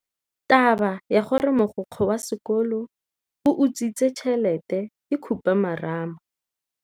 Taba ya gore mogokgo wa sekolo o utswitse tšhelete ke khupamarama.